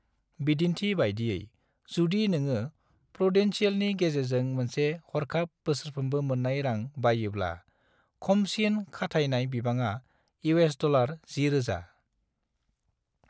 बिदिन्थि बायदियै, जुदि नोङो प्रूडेंशियलनि गेजेरजों मोनसे हरखाब बोसोरफ्रोमबो मोननाय रां बाइयोब्ला, खमसिन खाथायनाय बिबाङा $10,000।